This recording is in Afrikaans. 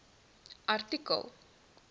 artikel